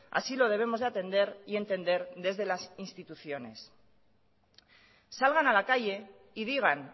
así lo debemos de atender y entender desde las instituciones salgan a la calle y digan